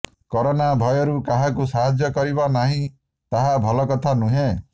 corona ଭୟରୁ କାହାକୁ ସାହାଯ୍ୟ କରିବା ନାହିଁ ତାହା ଭଲ କଥା ନୁହେଁ